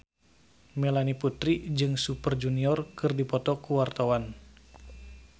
Melanie Putri jeung Super Junior keur dipoto ku wartawan